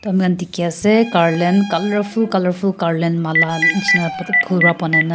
mur khan dekhi ase garland colourful garland Mala jisna pura phool para bonai kina.